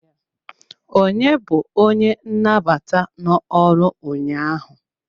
Onye bu onye nnabata no-ọrụ ụnyaahụ?